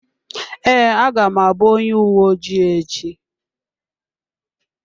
Ee, aga m akpọ onye uwe ojii echi.